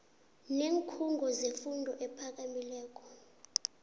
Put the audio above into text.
neenkhungo zefundo ephakamileko